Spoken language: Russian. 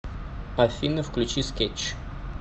афина включи скетч